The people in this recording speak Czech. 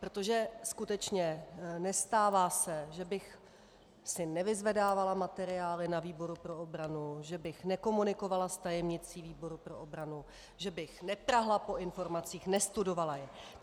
Protože skutečně nestává se, že bych si nevyzvedávala materiály na výboru pro obranu, že bych nekomunikovala s tajemnicí výboru pro obranu, že bych neprahla po informacích, nestudovala je.